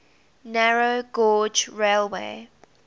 narrow gauge railway